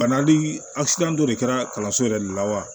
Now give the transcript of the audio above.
Banali dɔ de kɛra kalanso yɛrɛ de la wa